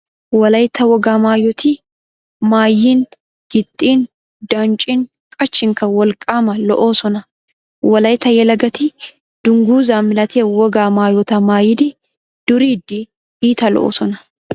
Wolaytta wogaa maayoti maayin, gixxin, danccin , qacinikka wolqqaama lo'oosona. Wolaytta yelagati dungguzaa milatiya wogaa maayota maayidi duriiddi iita lo"oosona.